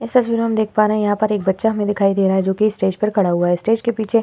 इस तस्वीर मैं हम देख पा रहे हैं एक बच्चा हमें दिखाई दे रहा हैं जोकि स्टेज पे खड़ा हुआ हैं। स्टेज के पीछे --